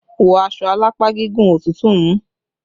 Wọ́ aṣọ alápá gígùn! Òtútù mú!